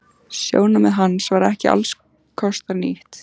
Sjónarmið hans var ekki allskostar nýtt.